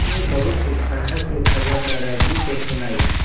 मैंने बहुत उत्साह से खबर दादाजी को सुनाई